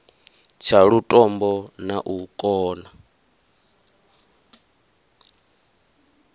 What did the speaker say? tsha lutombo na u kona